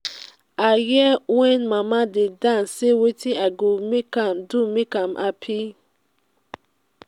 i hear wen mama dey dance say wetin i do make am happy.